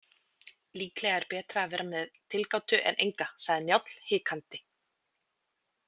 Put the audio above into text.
Líklega er betra að vera með tilgátu en enga, sagði Njáll hikandi.